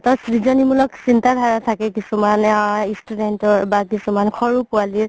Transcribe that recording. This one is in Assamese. মুলক চিন্তা ধাৰা থাকে কিছুমান আ student ৰ বা কিছুমান সৰু পোৱালিৰ